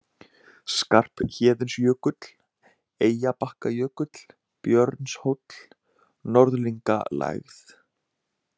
Skarphéðinsjökull, Eyjabakkajökull, Björnshóll, Norðlingalægð